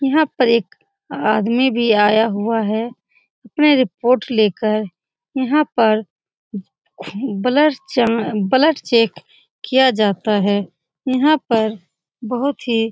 यहाँ पर एक आदमी भी आया हुआ है अपने रिपोर्ट लेकर यहाँ पर खु ब्लर चा ब्लड चेक किया जाता है यहाँ पर बहुत ही --